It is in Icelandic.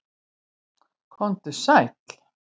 Kom þú sæl!